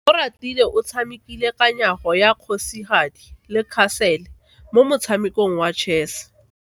Oratile o tshamekile kananyo ya kgosigadi le khasele mo motshamekong wa chess.